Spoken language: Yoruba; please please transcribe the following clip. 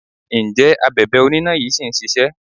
Ǹjẹ́ Abèbè oníná yí ṣì ń ṣisẹ́?